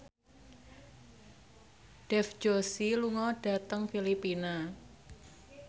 Dev Joshi lunga dhateng Filipina